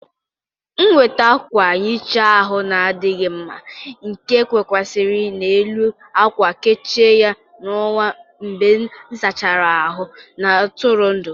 M weter akwa nhicha ahụ na-adịghị mma nke kwụkwasịrị n'elu akwa, kechie ya n'onwe m mgbe ịsachara ahụ na-atụrụ ndụ